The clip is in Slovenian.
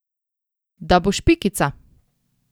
Da boš Pikica!